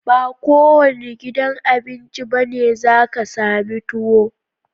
Ba kowanne gidan Abinci bane zaka sami tuwo